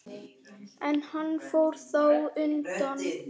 En hann fór þá undan.